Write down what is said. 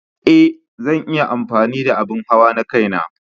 Ee, zan yi amfani da abin hawa na kaina.